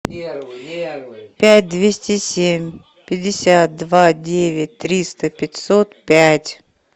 пять двести семь пятьдесят два девять триста пятьсот пять